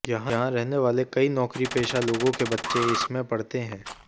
यहां रहने वाले कई नौकरीपेशा लोगों के बच्चे इसमें पढ़ते हैं